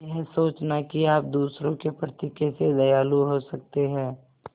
यह सोचना कि आप दूसरों के प्रति कैसे दयालु हो सकते हैं